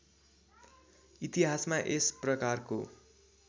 इतिहासमा यस प्रकारको